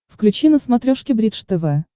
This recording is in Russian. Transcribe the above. включи на смотрешке бридж тв